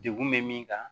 Degun bɛ min kan